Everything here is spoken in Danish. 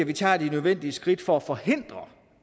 vi tager de nødvendige skridt for at forhindre